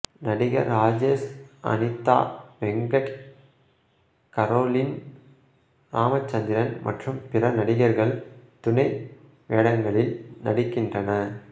நடிகர் ராஜேஷ் அனிதா வெங்கட் கரோலின் ராமச்சந்திரன் மற்றும் பிற நடிகர்கள் துணை வேடங்களில் நடிக்கின்றன